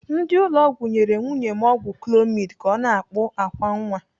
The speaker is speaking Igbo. Ndị ụlọ ọgwụ nyere nwunye m ọgwụ clomid ka ọ na-akpụ àkwá nwa.